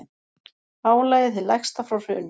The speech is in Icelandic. Álagið hið lægsta frá hruni